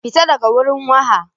Fita daga wurin waha!